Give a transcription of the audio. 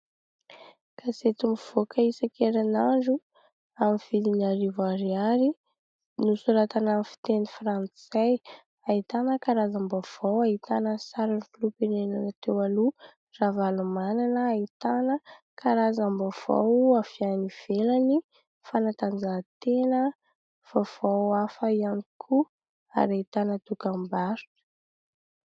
Gazety mivoaka isan-kerinandro, amin'ny vidiny arivo ariary, nosoratana amin'ny fiteny frantsay. Ahitana karazam-baovao, ahitana ny sariny filoham-pirenena teo aloha Ravalomanana, ahitana karazam-baovao avy any ivelany, fanatanjahantena, vaovao hafa ihany koa ary ahitana dokam-barotra.